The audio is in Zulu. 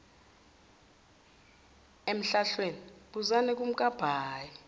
emhlahlweni buzani kumkabayi